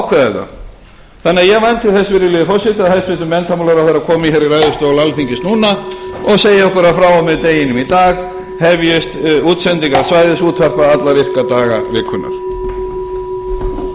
þetta þannig að ég vænti þess virðulegi forseti að hæstvirtur menntamálaráðherra komi hér í ræðustól alþingis núna og segi okkur að frá og með deginum í dag hefjist útsendingar svæðisútvarpa alla virka daga vikunnar